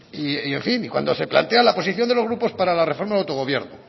y en fin cuando se plantea la posición de los grupos para la reforma del autogobierno